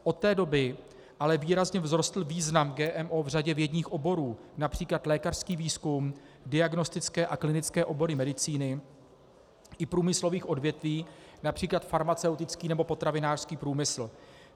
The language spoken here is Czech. Od té doby ale výrazně vzrostl význam GMO v řadě vědních oborů, například lékařský výzkum, diagnostické a klinické obory medicíny i průmyslových odvětví, například farmaceutický nebo potravinářský průmysl.